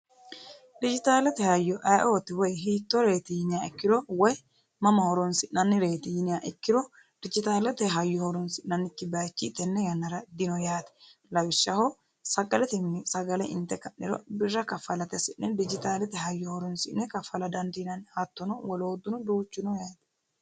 dijitaalate hayyo ayioti woy hiittoreyiti yiniya ikkiro woy mama horonsi'nannireyiti yiniya ikkiro dijitaalate hayyo horonsi'nannikki bayichi tenne yannara dino yaate lawishshaho sagalatinni sagale inte ka'niro birra kaffalate hasi'ne dijitaalete hayyo horonsi'ne kaffala dandiinanni hattono wolootuno duuchuno yaate.